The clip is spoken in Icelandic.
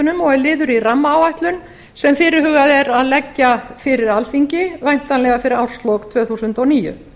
jarðhitamyndunum og er liður í rammaáætlun sem fyrirhugað er að leggja fyrir alþingi væntanlega fyrir árslok tvö þúsund og níu